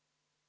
Aitäh!